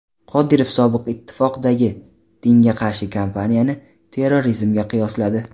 Qodirov Sobiq ittifoqdagi dinga qarshi kampaniyani terrorizmga qiyosladi.